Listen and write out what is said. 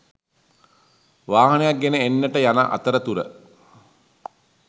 වාහනයක් ගෙන එන්නට යන අතරතුර